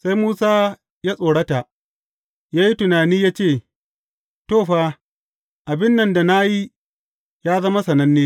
Sai Musa ya tsorata, ya yi tunani ya ce, To, fa, abin nan da na yi, ya zama sananne.